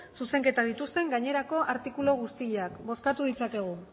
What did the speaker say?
zuzenketak dituzten gainerako artikulu guztiak bozkatu ditzakegu